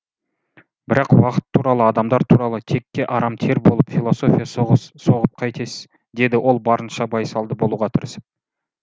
бірақ уақыт туралы адамдар туралы текке арам тер болып философия соғып қайтесіз деді ол барынша байсалды болуға тырысып